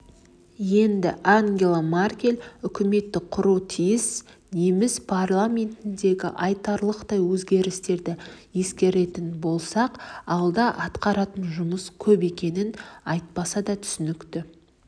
енді ангела меркель үкімет құруы тиіс неміс парламентіндегі айтарлықтай өзгерістерді ескеретін болсақ алда атқаратын жұмыс көп екені айтпаса да түсінікті